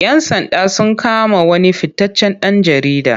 Yan sanda sun kama wani fitaccen ɗan jarida.